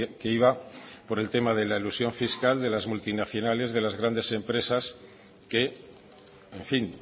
que iba por tema de la elusión fiscal de las multinacionales de las grandes empresas que en fin